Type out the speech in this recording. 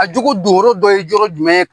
A jogo doyɔrɔ dɔ ye yɔrɔ jumɛn ye